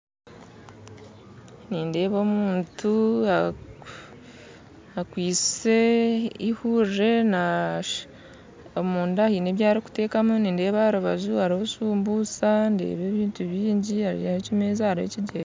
Nindeeba omuntu akwise eihuurire omunda haine ebi arikuteekamu nindeeba aharubaju hariho shumbusha ndeeba ebintu bingi hariho ekimeeza hariho ekigyega